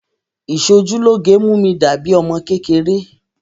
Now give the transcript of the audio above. Ìṣojúlóge mú mi dà bíi ọmọ kékeré